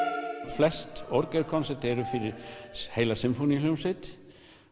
flest orgelverk eru fyrir heila sinfóníuhljómsveit